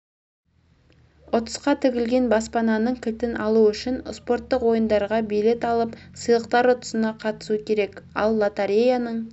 ұтысқа тігілген баспананың кілтін алу үшін спорттық ойындарға билет алып сыйлықтар ұтысына қатысу керек ал лотореяның